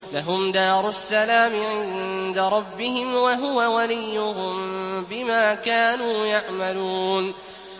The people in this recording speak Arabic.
۞ لَهُمْ دَارُ السَّلَامِ عِندَ رَبِّهِمْ ۖ وَهُوَ وَلِيُّهُم بِمَا كَانُوا يَعْمَلُونَ